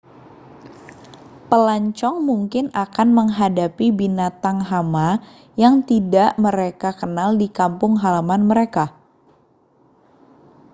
pelancong mungkin akan menghadapi binatang hama yang tidak mereka kenal di kampung halaman mereka